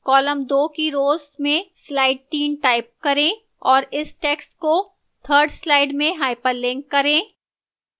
column 2 की row 2 में slide 3 type करें और इस text को 3rd slide में hyperlink करें